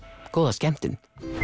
góða skemmtun